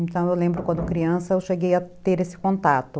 Então, eu lembro quando criança eu cheguei a ter esse contato.